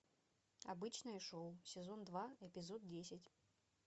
обычное шоу сезон два эпизод десять